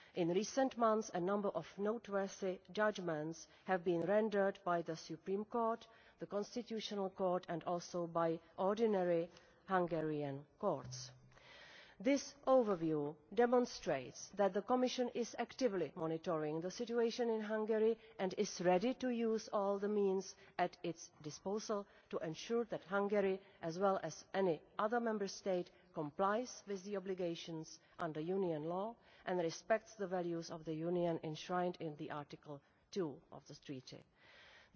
law. In recent months a number of noteworthy judgments have been rendered by the Supreme Court, the Constitutional Court and also by ordinary Hungarian courts. This overview demonstrates that the Commission is actively monitoring the situation in Hungary and is ready to use all the means at its disposal to ensure that Hungary as well as any other Member State complies with the obligations under European Union law and respects the values of the European Union enshrined in Article 2 of the Treaty on European Union.